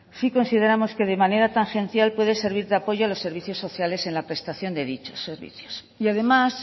sí consideramos que de manera tan esencial puede servir de apoyo a los servicios sociales en la prestación de dichos servicios y además